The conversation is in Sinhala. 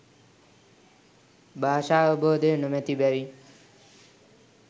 භාෂාවබෝධය නොමැති බැවින්